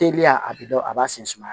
Teliya a bɛ dɔn a b'a sen sumaya